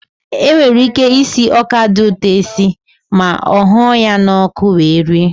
E nwere ike isi ọka dị ụtọ esi ma ọ hụọ ya n'ọkụ wee rie.